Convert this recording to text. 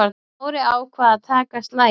Smári ákvað að taka slaginn.